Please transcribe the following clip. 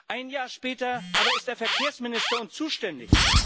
Ein Jahr später aber ist er Verkehrsminister und zuständig.